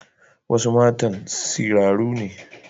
Wasu matan siraru ne.